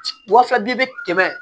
Waa fila di bɛ tɛmɛ